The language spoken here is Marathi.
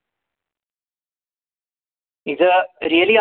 is a really